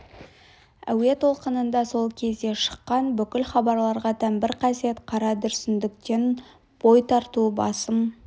әуе толқынында сол кезде шыққан бүкіл хабарларға тән бір қасиет қара дүрсіндіктен бой тарту басым